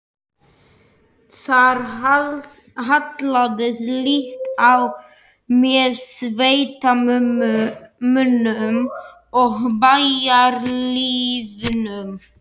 Þar hallaðist lítt á með sveitamönnum og bæjarlýðnum.